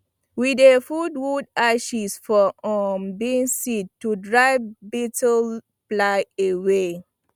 we dey put wood ashes for um beans seed to drive beetlefly away